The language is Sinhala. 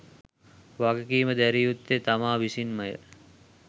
වගකීම දැරිය යුත්තේ තමා විසින්මය.